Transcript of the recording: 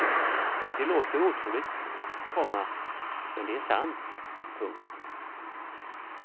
Det låter otroligt, komma men det är sant. punkt